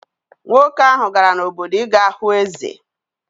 Nwoke ahụ gara n’obodo ị ga hụ eze.